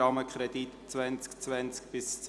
Rahmenkredit 2020–2029».